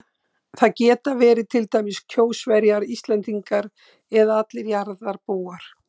Það geta verið til dæmis Kjósverjar, Íslendingar eða allir jarðarbúar.